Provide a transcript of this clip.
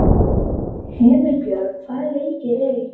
Himinbjörg, hvaða leikir eru í kvöld?